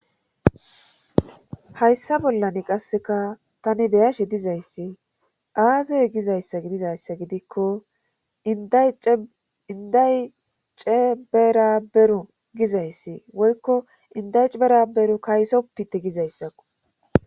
hayssa bollan qasseka tani beyashe dizayssi aazey gizayssa gidizayssa gidikko inday ceberaberu gizayssi woykko indayceberaberu kaysoppite gizayssakko